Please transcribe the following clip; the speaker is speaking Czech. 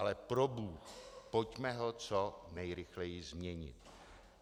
Ale probůh, pojďme ho co nejrychleji změnit.